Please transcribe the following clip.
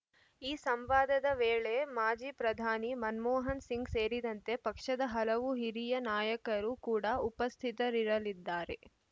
ಈ ಸಂವಾದದ ವೇಳೆ ಮಾಜಿ ಪ್ರಧಾನಿ ಮನಮೋಹನ್‌ಸಿಂಗ್‌ ಸೇರಿದಂತೆ ಪಕ್ಷದ ಹಲವು ಹಿರಿಯ ನಾಯಕರು ಕೂಡಾ ಉಪಸ್ಥಿತರಿರಲಿದ್ದಾರೆ